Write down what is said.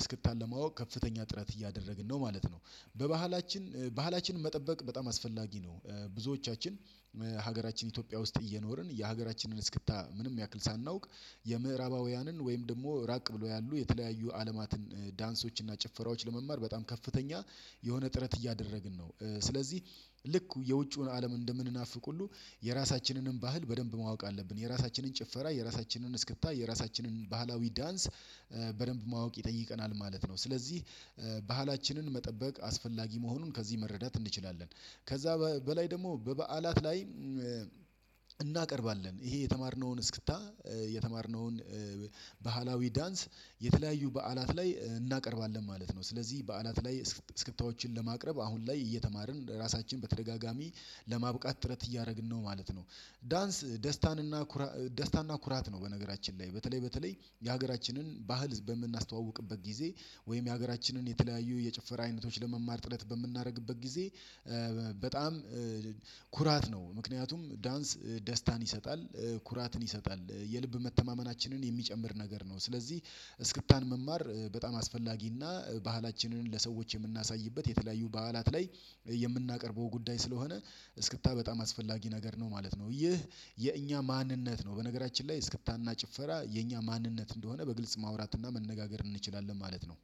እስክታን ለማወቅ ከፍተኛ ጥረት እያደረግን ነው ማለት ነው። በባህላችን ባህላችንን መጠበቅ በጣም አስፈላጊ ነው። ብዙዎቻችን ሀገራችን ኢትዮጵያ ውስጥ እየኖርን የሀገራችንን እስክታ ምንም ያክል ሳናውቅ የምዕራባውያንን ወይም ደግሞ ራቅ ብሎ ያሉ የተለያዩ አለማትን ዳንሶችን እና ጭፈራዎችን ለመማር በጣም ከፍተኛ የሆነ ጥረት እያደረግን ነው። ስለዚህ ልክ የውጪውን አለም እንደምንናፍቅ ሁሉ የራሳችንንም ባህል በደንብ ማወቅ አለብን የራሳችንን ጭፈራ የራሳችንን እስክታ የራሳችንን ባህላዊ ዳንስ በደንብ ማወቅ ይጠይቀናል ማለት ነው። ስለዚህ ብህላችንን መጠበቅ አስፈላጊ መሆኑን ከዚህ መረዳት እንችላለን። ከዛ በላይ ደግሞ በበዓላት ላይ እናቀርባለን ይሄ የተማርነውን እስክታ የተማርነውን ባህላዊ ዳንስ የተለያዩ በዓላት ላይ እናቀርባለን ማለት ነው። ስለዚህ በዓላት ላይ ስክታዎችን ለማቅረብ አሁን ላይ እየተማርን ራሳችን በተደጋጋሚ ለማብቃት ጥረት እያደረግን ነው ማለት ነው። ዳንስ ደስታን እና ኩራ ደስታ እና ኩራት ነው። በነገራችን ላይ በተለይ በተለይ የሀገራችንን ባህል በምናስተዋውቅበት ጊዜ ወይም የሀገራችንን የተለያዩ የጭፈራ አይነቶች ለመማር ጥረት በምናደርግበት ጊዜ በጣም ኩራት ነው ምክንያቱም ዳንስ ደስታን ይሰጣል ኩራትን ይሰጣል የልብ መተማመናችንን የሚጨምር ነገር ነው። ስለዚህ እስክታን መማር በጣም አስፈላጊና ባህላችንን ለሰዎች የምናሳይበት የተለያዩ በዓላት ላይ የምናቀርበው ጉዳይ ስለሆነ እስክታ በጣም አስፈላጊ ነገር ነው ማለት ነው። ይህ የእኛ ማንነት ነው። በነገራችን ላይ እስክታና ጭፈራ የእኛ ማንነት እንደሆነ በግልጽ ማውራትና መነጋገር እንችላለን ማለት ነው።